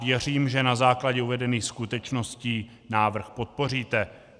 Věřím, že na základě uvedených skutečností návrh podpoříte.